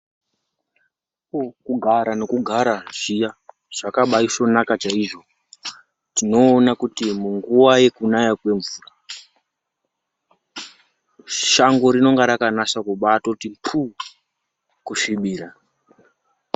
Kugara nekugara zviya, zvakabaisvonaka chaizvo, tinoona kuti munguwa yekunaya kwemvura, shango rinonga rakabanasa kubatoti phuu kusvibira.